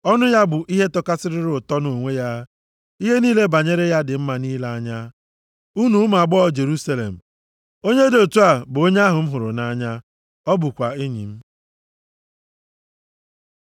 Ọnụ ya bụ ihe tọkarịsịrị ụtọ nʼonwe ya, ihe niile banyere ya dị mma nʼile anya. Unu ụmụ agbọghọ Jerusalem, onye dị otu a bụ onye ahụ m hụrụ nʼanya, ọ bụkwa enyi m.